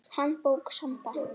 Handbók Samba.